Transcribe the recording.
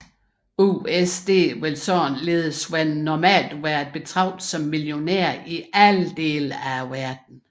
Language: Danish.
USD vil således normalt være at betragte som millionær i alle dele af verden